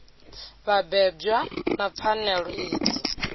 vha bebwa na pfanelo idzi